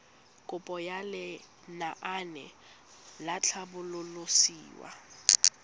kopo ya lenaane la tlhabololosewa